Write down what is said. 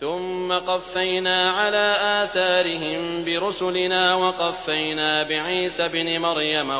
ثُمَّ قَفَّيْنَا عَلَىٰ آثَارِهِم بِرُسُلِنَا وَقَفَّيْنَا بِعِيسَى ابْنِ مَرْيَمَ